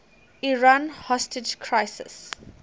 iran hostage crisis